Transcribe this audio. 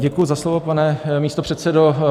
Děkuji za slovo, pane místopředsedo.